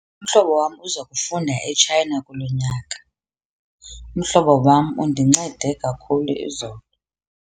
Umhlobo wam uza kufunda eTshayina kulo nyaka. Umhlobo wam undincede kakhulu izolo.